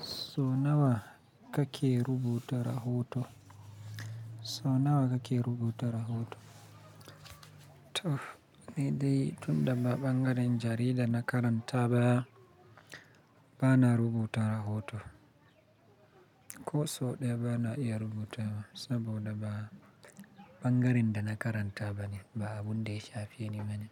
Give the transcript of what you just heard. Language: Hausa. So nawa kake rubuta rahoto? So nawa kake rubuta rahoto? To, ni dai tun da ba ɓangaren jarida na karanta ba, bana rubuta rahoto. Ko so ɗaya bana iya rubuta saboda ba ɓangaren da na karanta bane, ba abun da ya shafe ne bane.